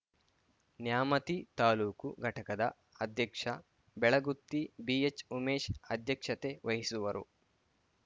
ನ್ಯಾಮತಿ ತಾಲೂಕು ಘಟಕದ ಅಧ್ಯಕ್ಷ ಬೆಳಗುತ್ತಿ ಬಿಎಚ್‌ಉಮೇಶ್‌ ಅಧ್ಯಕ್ಷತೆ ವಹಿಸುವರು